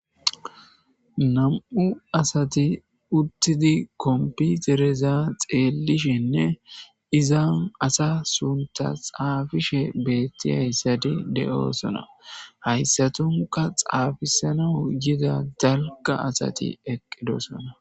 nam'u assati uttidi kompitereza xeellishshenne izan asa suntta xaafishshe beettiyassatti de'oosona hayssatunka xaafisanaw yidda dalgga assati eqqidossona